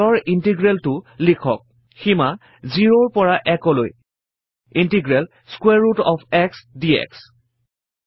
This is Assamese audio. তলৰ integral টো লিখক সীমা 0 -ৰ পৰা 1 লৈ integral square root of x dx